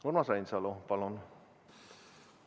Urmas Reinsalu, palun!